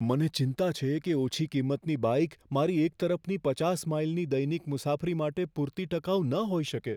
મને ચિંતા છે કે ઓછી કિંમતની બાઈક મારી એક તરફની પચાસ માઈલની દૈનિક મુસાફરી માટે પૂરતી ટકાઉ ન હોઈ શકે.